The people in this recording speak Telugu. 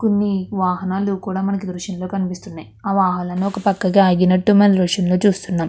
కొన్ని వాహనాలు కూడా మనకు దృశ్యంలో కనిపిస్తున్నాయి వాహనాలు ఒక పక్కన ఆగినట్టు మనకు దృశ్యంలో చూస్తున్నాం.